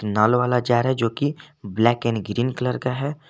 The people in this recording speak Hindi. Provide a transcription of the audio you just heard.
नल वाला जार है जो की ब्लैक एंड ग्रीन कलर का है।